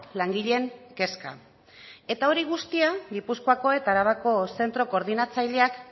langileen kezka eta hori guztia gipuzkoako eta arabako zentro koordinatzaileak